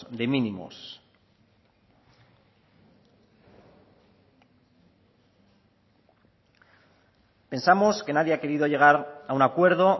de mínimos pensamos que nadie ha querido llegar a un acuerdo